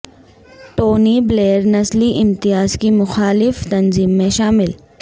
Tony Blair نسلی امتیاز کی مخالف تنظیم میں شامل